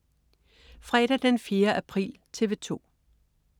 Fredag den 4. april - TV 2: